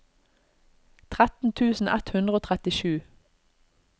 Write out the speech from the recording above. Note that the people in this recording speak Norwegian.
tretten tusen ett hundre og trettisju